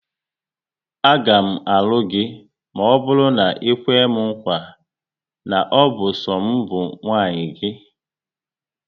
Aga m alụ gị maọbụru na ikwe m nkwa, na ọ bụ so m bụ nwunye gị